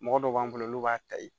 Mɔgɔ dɔw b'an bolo n'u b'a ta yen